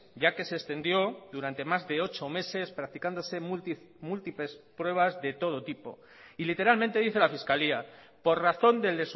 ya que se extendió durante más de ocho meses practicándose múltiples pruebas de todo tipo y literalmente dice la fiscalía por razón del